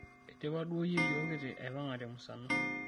eidipa duo yieyo kiti aipanga temusano